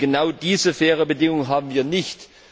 Genau diese fairen Bedingungen haben wir nicht.